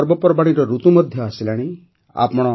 ଏବେ ପର୍ବପର୍ବାଣୀର ଋତୁ ମଧ୍ୟ ଆସିଗଲାଣି